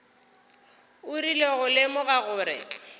o rile go lemoga gore